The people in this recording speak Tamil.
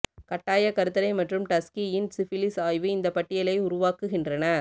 கட்டாயக் கருத்தடை மற்றும் டஸ்கீயின் சிஃபிலிஸ் ஆய்வு இந்த பட்டியலை உருவாக்குகின்றன